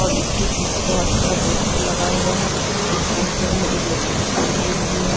और इसके पीछे बहुत सारा पोस्टर लगा हुआ है इस पोस्टर में एक लड़की की तस्वीर भी है।